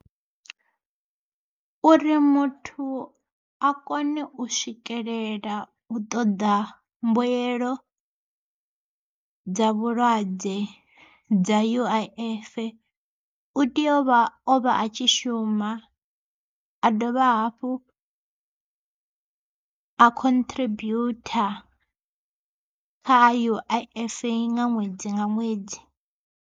Uri muthu a kone u swikelela u ṱoḓa mbuyelo dza vhulwadze dza U_I_F, u tea uvha o vha a tshi shuma. A dovha hafhu a contribute kha U_I_F nga ṅwedzi nga ṅwedzi.